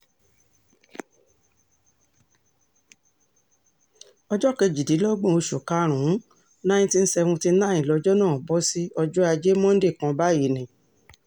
ọjọ́ kejìdínlọ́gbọ̀n oṣù karùn-ún 1979 lọjọ́ náà bọ́ sí ọjọ́ ajé monde kan báyìí ni